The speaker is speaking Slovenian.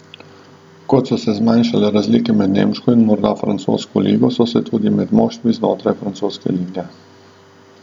Kot so se zmanjšale razlike med nemško in morda francosko ligo, so se tudi med moštvi znotraj francoske lige.